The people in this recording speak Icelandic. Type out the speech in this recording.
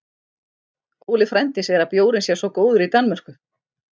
Óli frændi segir að bjórinn sé svo góður í Danmörku